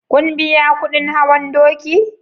kun biya kudin hawan doki?